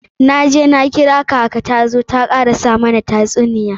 Na je na kira kaka ta zo ta karasa mana tasuniya.